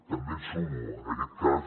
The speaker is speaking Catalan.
també em sumo en aquest cas